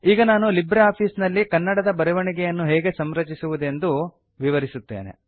ಈಗ ನಾನು LibreOffice ನಲ್ಲಿ ಕನ್ನಡ ದ ಬರವಣಿಗೆಯನ್ನು ಹೇಗೆ ಸಂರಚಿಸುವುದೆಂದು ಕನ್ಫಿಗರ್ ವಿವರಿಸುತ್ತೇನೆ